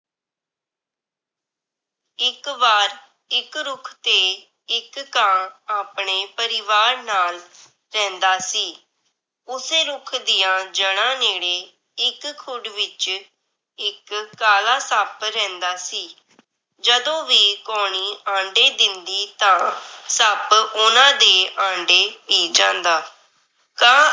ਇੱਕ ਖੁੱਡ ਵਿਚ ਇੱਕ ਕਾਲਾ ਸੱਪ ਰਹਿੰਦਾ ਸੀ। ਜਦੋਂ ਵੀ ਕਾਉਣੀ ਆਂਡੇ ਦਿੰਦੀ ਤਾਂ ਸੱਪ ਓਹਨਾਂ ਦੇ ਆਂਡੇ ਪੀ ਜਾਂਦਾ। ਕਾਂ